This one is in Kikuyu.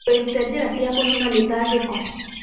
Wĩrute njĩra cia kũniina mĩtangĩko.